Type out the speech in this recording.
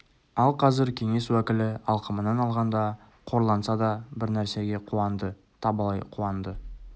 ал қазір кеңес уәкілі алқымынан алғанда қорланса да бір нәрсеге қуанды табалай қуанды